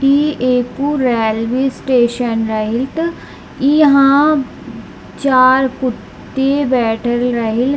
ई एकपुर railway station रही | यहाँ चार कुत्ते बैठे रही ।